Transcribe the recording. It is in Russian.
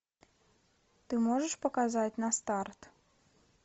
ты можешь показать на старт